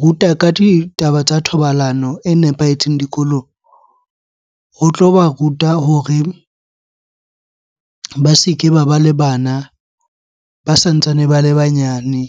ruta ka ditaba tsa thobalano e nepahetseng dikolong, ho tloba ruta hore ba se ke ba ba le bana ba santsane ba le banyane.